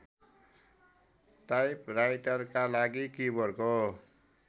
टाइपराइटरका लागि किबोर्डको